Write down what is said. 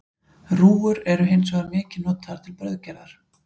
Rúgur eru hins vegar mikið notaðar til brauðgerðar.